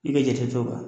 I bɛ jate to o kan